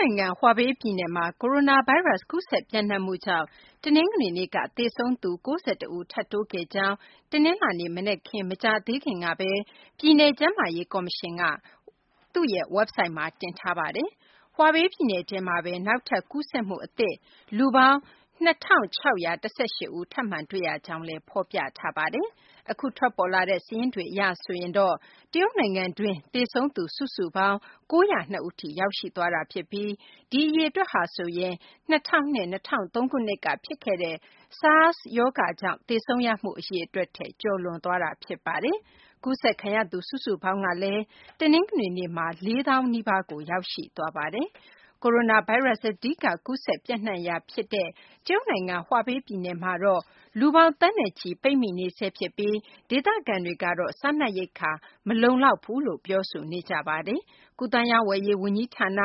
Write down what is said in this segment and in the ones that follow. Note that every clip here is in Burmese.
နိုင်ငံ ဟူးဘေပြည်နယ်မှာ ကိုရိုနာဗိုင်းရပ်စ် ကူးစက်ပျံ့နှံ့မှုကြောင့် တနင်္ဂနွေနေ့က သေဆုံးသူ ၉၁ ဦး ထပ်တိုးခဲ့ကြောင်း တနင်္လာနေ့ မနက်ခင်း မကြာသေးခင်ကပဲ ပြည်နယ် ကျန်းမာရေးကော်မရှင်က သူ့ရဲ့ဝက်ဘ်ဆိုက်မှာ တင်ထားပါတယ်။ ဟူးဘေပြည်နယ်ထဲမှာပဲ နောက်ထပ် ကူးစက်မှုအသစ် လူပေါင်း ၂၆၁၈ ဦး ထပ်မံ တွေ့ရကြောင်းလည်း ဖော်ပြထားပါတယ်။ အခုထွက်ပေါ်လာတဲ့ စာရင်းတွေအရ ဆိုရင်တော့ တရုတ်နိုင်ငံတွင်း သေဆုံးသူ စုစုပေါင်း ၉၀၂ ဦးထိ ရောက်ရှိသွားတာဖြစ်ပြီး ဒီအရေအတွက်ဟာဆိုရင် ၂၀၀၂ - ၂၀၀၃ ခုနှစ်က ဖြစ်ခဲ့တဲ့ SARS ကြောင့် သေဆုံးရမှု အရေအတွက်ထက် ကျော်လွန်သွားပြီ ဖြစ်ပါတယ်။ ကူးစက်ခံရသူ စုစုပေါင်းကလည်း တနင်္ဂနွေနေ့မှာ ၄၀,၀၀၀ နီးပါးကို ရောက်ရှိသွားပါတယ်။ ကိုရိုနာဗိုင်းရပ်စ် အဓိက ကူးစက်ပျံ့နှံ့ရာ အဓိကဖြစ်တဲ့ တရုတ်နိုင်ငံ ဟူးဘေပြည်နယ်မှာတော့ လူပေါင်း သန်းနဲ့ချီ ပိတ်မိနေဆဲဖြစ်ပြီး ဒေသခံတွေကတော့ စားနပ်ရိက္ခာ မလုံလောက်ဘူးလို့ ပြောဆိုနေကြပါတယ်။ ကူးသန်းရောင်းဝယ်ရေး ဝန်ကြီးဌာန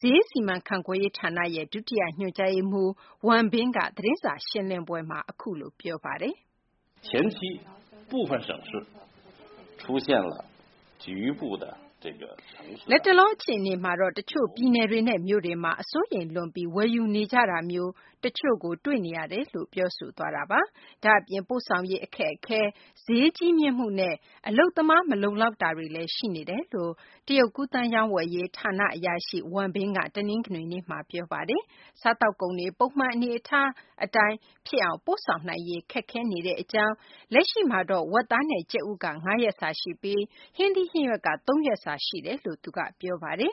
ဈေးစီမံခန့်ခွဲရေးဌာန ဒုတိယညွှန်ကြားရေးမှူး Wang Bin က အခုလို ပြောပါတယ်။ “လတ်တလော အခြေအနေမှာတော့ တချို့ပြည်နယ်တွေနဲ့ မြို့တွေမှာတော့ စိုးရိမ်လွန်ပြီး ဝယ်ယူနေကြတာမျိုး တချို့ကို တွေ့နေရပါတယ်။” ဒါ့အပြင် ပို့ဆောင်ရေးခက်ခဲမှု၊ ဈေးကြီးမြင့်မှုနဲ့ အလုပ်သမား မလုံလောက်မှုတွေ ရှိနေတယ်လို့ တရုတ် ကူးသန်းရောင်းဝယ်ရေးဌာန အရာရှိ Wang Bin က တနင်္ဂနွေနေ့မှာ ပြောပါတယ်။ စားသောက်ကုန်တွေ ပုံမှန်အနေအထားတိုင်း ပို့ဆောင်နိုင်ရေး ခက်ခဲနေကြောင်း၊ လက်ရှိမှာတော့ ဝက်သား၊ ကြက်ဥက ၅ ရက်စာရှိပြီး ဟင်းသီးဟင်းရွက်က ၃ ရက်စာ ရှိနေတယ်လို့လည်း သူက ပြောပါတယ်